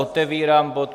Otevírám bod